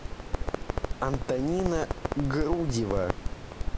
антонина грудева